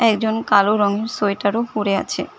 একজন কালো রঙের সোয়েটারও পরে আছে।